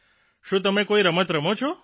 શું તમે કોઇ રમત રમો છો